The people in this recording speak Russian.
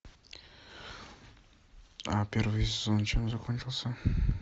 а первый сезон чем закончился